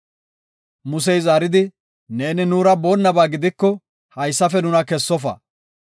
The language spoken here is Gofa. Musey zaaridi, “Neeni nuura boonnaba gidiko, haysafe nuna kessofa.